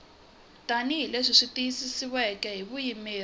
tanihi leswi tiyisisiweke hi vuyimeri